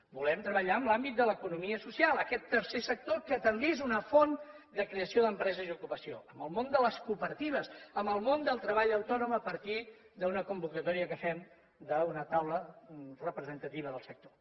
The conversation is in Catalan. volem treballar en l’àmbit de l’economia social aquest tercer sector que també és una font de creació d’empreses i ocupació amb el món de les cooperatives amb el món del treball autònom a partir d’una convocatòria que fem d’una taula representativa del sector